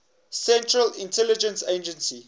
central intelligence agency